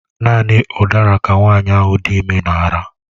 Naanị udara ka nwanyị ahụ dị ime na-ara.